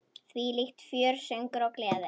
Þvílíkt fjör, söngur og gleði.